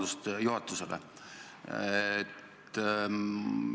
Mul on juhatusele lausa ettepanek.